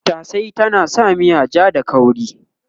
Tattashe yana sa miya ja da kauri